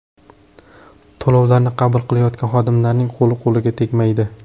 To‘lovlarni qabul qilayotgan xodimlarning qo‘li-qo‘liga tegmaydi.